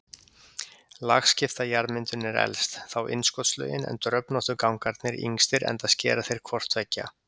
Lagskipta jarðmyndunin er elst, þá innskotslögin en dröfnóttu gangarnir yngstir enda skera þeir hvort tveggja.